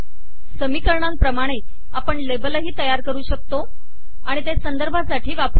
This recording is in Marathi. समीकरणांप्रमाणे आपण लेबलही तयार करु शकतो आणि ते संदर्भासाठी वापरु शकतो